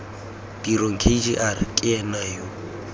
tirong kgr ke ena yo